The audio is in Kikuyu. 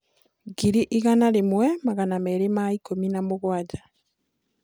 ngiri igana rĩmwe magana merĩ ma ikumi na mũgwanja